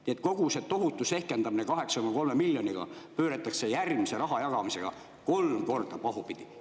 Nii et kogu see tohutu sehkendamine 8,3 miljoniga pööratakse järgmise rahajagamisega kolm korda pahupidi.